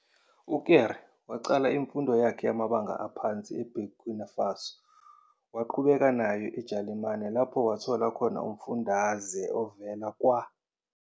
UKéré waqala imfundo yakhe yamabanga aphansi eBurkina Faso waqhubeka nayo eJalimane lapho wathola khona umfundaze evela kwa.